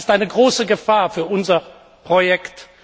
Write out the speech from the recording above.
Das ist eine große Gefahr für unser Projekt.